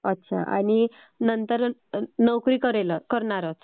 अच्छा आणि नंतर नोकरी करणारच.